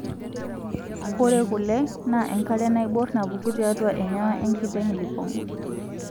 Ore kule naa enkare naibor napuku tiatwa enyawa enkiteng' lipong'.